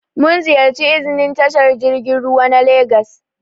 Mun ziƴarci iznin tashar jirgin ruwa na legas.